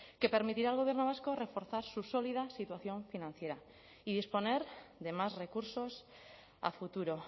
que permitirá al gobierno vasco reforzar su sólida situación financiera y disponer de más recursos a futuro